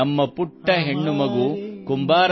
ನಮ್ಮ ಪುಟ್ಟ ಹೆಣ್ಣುಮಗು ಕುಂಬಾರನನ್ನು ಕೇಳಿತು